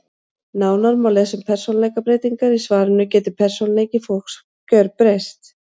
Nánar má lesa um persónuleikabreytingar í svarinu Getur persónuleiki fólks gerbreyst?